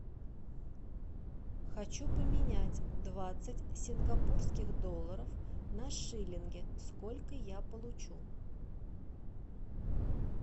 хочу поменять двадцать сингапурских долларов на шиллинги сколько я получу